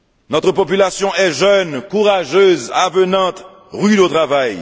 Notre population est jeune, courageuse, avenante, rude au travail.